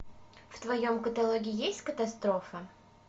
в твоем каталоге есть катастрофа